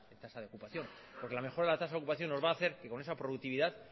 tasa de ocupación porque la mejora en tasa de ocupación nos va hacer que con esa productividad